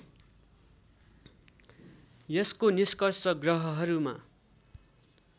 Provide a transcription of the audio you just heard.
यसको निष्कर्ष ग्रहहरूमा